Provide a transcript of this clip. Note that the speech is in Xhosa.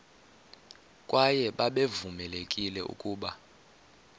kwaye babevamelekile ukuba